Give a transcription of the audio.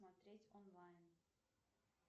смотреть онлайн